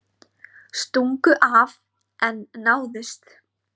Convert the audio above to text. Stungu af en náðust